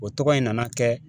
O tɔgɔ in nana kɛ